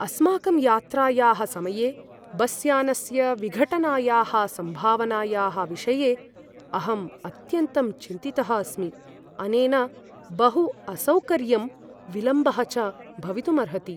अस्माकं यात्रायाः समये बस्यानस्य विघटनायाः सम्भावनायाः विषये अहम् अत्यन्तं चिन्तितः अस्मि; अनेन बहु असौकर्यं विलम्बः च भवितुम् अर्हति।